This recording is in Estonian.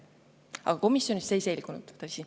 Aga komisjonis see ei selgunud, tõsi.